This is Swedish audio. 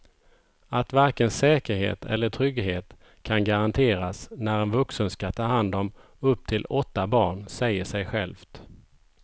Att varken säkerhet eller trygghet kan garanteras när en vuxen ska ta hand om upp till åtta barn säger sig självt.